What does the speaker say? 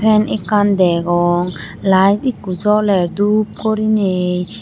Fan akkan degong light ekko joler doob gorinei.